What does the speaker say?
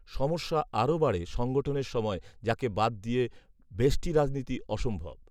সমস্যা আরও বাড়ে সংগঠনের সময়, যাকে বাদ দিয়ে ব্যষ্টি রাজনীতি অসম্ভব